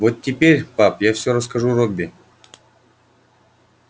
вот теперь пап я всё расскажу робби